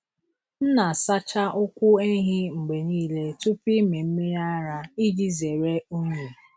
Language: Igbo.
M na-asacha ụkwụ ehi mgbe niile tupu ịmị mmiri ara iji zere unyi.